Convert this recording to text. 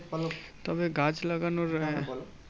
তবে গাছ লাগানোর আহ